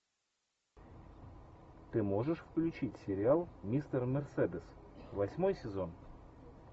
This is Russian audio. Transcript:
ты можешь включить сериал мистер мерседес восьмой сезон